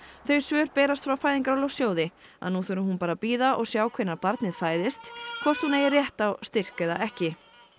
þau svör berast frá Fæðingarorlofssjóði að nú þurfi hún bara að bíða og sjá hvenær barnið fæðist hvort hún eigi rétt á styrk eða ekki